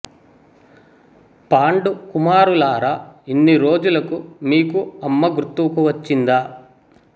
పాండు కుమారులార ఇన్ని రోజులకు మీకు అమ్మ గుర్తుకు వచ్చిందా